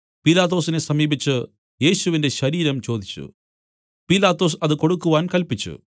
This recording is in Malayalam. പീലാത്തോസിനെ സമീപിച്ചു യേശുവിന്റെ ശരീരം ചോദിച്ചു പീലാത്തോസ് അത് കൊടുക്കുവാൻ കല്പിച്ചു